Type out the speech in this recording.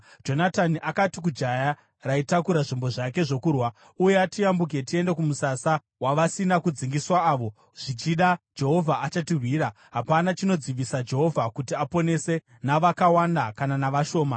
Jonatani akati kujaya raitakura zvombo zvake zvokurwa, “Uya tiyambuke tiende kumusasa wavasina kudzingiswa avo. Zvichida Jehovha achatirwira. Hapana chinodzivisa Jehovha kuti aponese, navakawanda kana navashoma.”